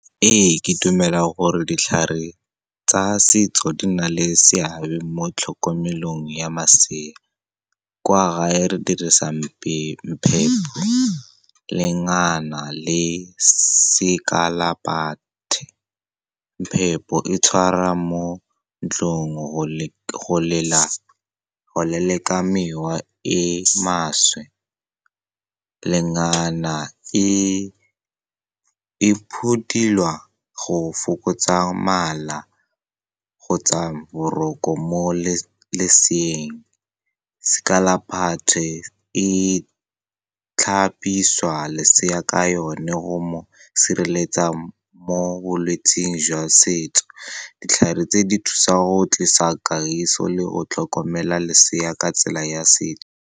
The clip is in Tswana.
Ee, ke dumela gore ditlhare tsa setso di na le seabe mo tlhokomelong ya masea. Kwa gae re dirisang mpepho, lengana le sekalaphathe. Mpepho e tshwarwa mo ntlong go leleka mewa e e maswe. Lengana e phuthelwa go fokotsa mala kgotsa boroko mo leseeng. Sekalaphathe e tlhapisiwa lesea ka yone go mo sireletsa mo bolwetseng jwa setso. Ditlhare tse di thusa go tlisa kagiso le go tlhokomela lesea ka tsela ya setso.